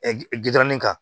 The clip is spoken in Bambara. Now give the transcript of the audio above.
gidɔrɔn kan